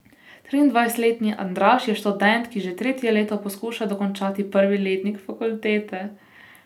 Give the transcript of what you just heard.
Triindvajsetletni Andraž je študent, ki že tretje leto poskuša dokončati prvi letnik fakultete.